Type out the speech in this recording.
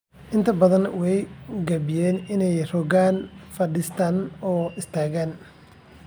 Inta badan way gaabiyaan inay rogaan, fadhiistaan, oo istaagaan.